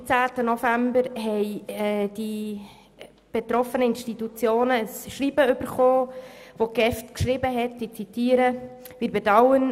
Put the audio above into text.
Am 13. November erhielten die betroffenen Institutionen ein Schreiben, mit welchem die GEF mitteilte: